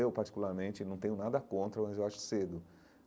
Eu, particularmente, não tenho nada contra, mas eu acho cedo.